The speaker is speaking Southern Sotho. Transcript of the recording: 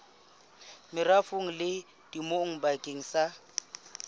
merafong le temong bakeng sa